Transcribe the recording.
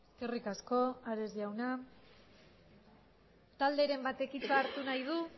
eskerrik asko ares jauna talderen batek hitza hartu nahi du